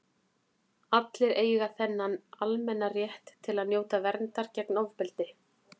allir eiga þennan almenna rétt til að njóta verndar gegn ofbeldi